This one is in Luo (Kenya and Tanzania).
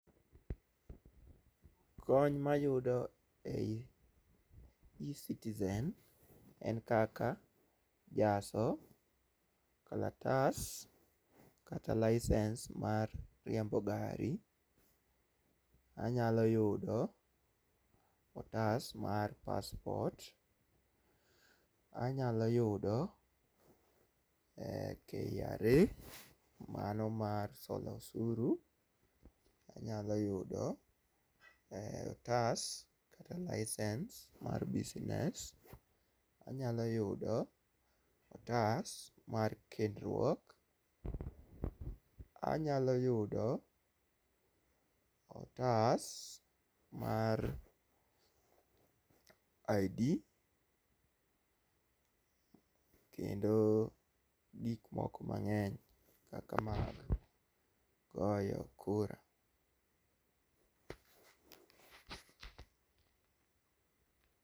kony mayudo e ecitizen en kaka jaso kalatas kata licence mar riembo gari. Anyalo yudo otas mar passport .Anyalo yudo KRA mano mar solo osuru anyalo yudo otas kata license mar business. Anyalo yudo otas mar kendruok , anyalo yudo otas mar ID kendo gik moko mang'eny kaka mag goyo kura